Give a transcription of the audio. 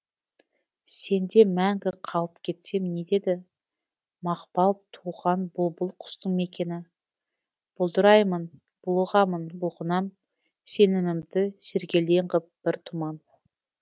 сенде мәңгі қалып кетсем не етеді мақпал туған бұлбұл құстың мекені бұлдыраймын булығамын бұлқынам сенімімді сергелдең ғып бір тұман